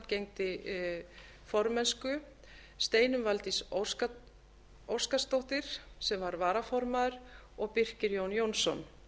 gegndi formennsku steinunn valdís óskarsdóttir sem var varaformaður og birkir jón jónsson